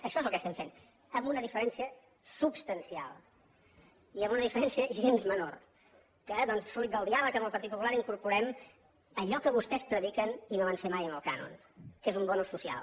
això és el que estem fent amb una diferència substancial i amb una diferència gens menor que doncs fruit del diàleg amb el partit popular incorporem allò que vostès prediquen i no van fer mai amb el cànon que és un bo social